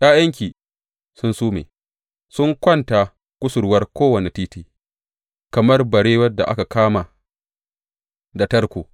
’Ya’yanki sun sume; sun kwanta kusurwar kowane titi, kamar barewar da aka kama da tarko.